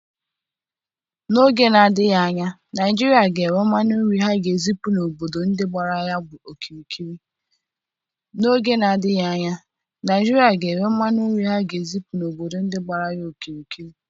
N'oge na adịghị anya Naigeria ga enwe mmanụ nri ha ga ezipu n'obodo dị gbara ya okirikiri